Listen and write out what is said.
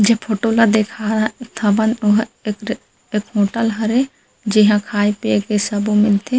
जे फोटो ला देखा हा थबन ओहा एक ठा एक होटल हरे जिहा खाय-पिए के सबो मिलथे।